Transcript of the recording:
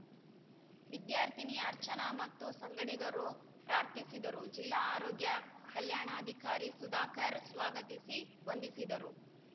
ವಿದ್ಯಾರ್ಥಿನಿ ಅರ್ಚನಾ ಮತ್ತು ಸಂಗಡಿಗರು ಪ್ರಾರ್ಥಿಸಿದರು ಜಿಲ್ಲಾ ಆರೋಗ್ಯ ಕಲ್ಯಾಣಾಧಿಕಾರಿ ಸುಧಾಕರ್‌ ಸ್ವಾಗತಿಸಿ ವಂದಿಸಿದರು